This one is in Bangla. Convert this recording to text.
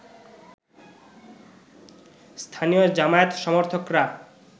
স্থানীয় জামায়াত সমর্থকরা